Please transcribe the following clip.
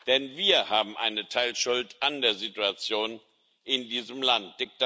Denn wir haben eine Teilschuld an der Situation in diesem Land.